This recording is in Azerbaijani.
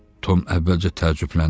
Tom əvvəlcə təəccübləndi.